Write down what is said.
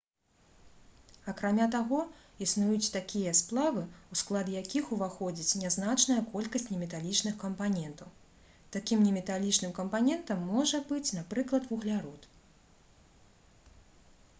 акрамя таго існуюць такія сплавы у склад якіх уваходзіць нязначная колькасць неметалічных кампанентаў такім неметалічным кампанентам можа быць напрыклад вуглярод